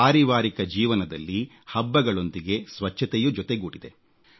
ಪಾರಿವಾರಿಕ ಜೀವನದಲ್ಲಿ ಹಬ್ಬಗಳೊಂದಿಗೆ ಸ್ವಚ್ಛತೆಯೂ ಜೊತೆಗೂಡಿದೆ